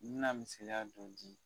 N me na misɛliya dɔ di